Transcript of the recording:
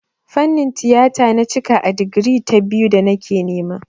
Fannin tiyata na cika a digiri ta biyu da nake nema.